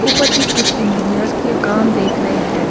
ऊपर भी कुछ इंजीनियर के कम देख रहे हैं ।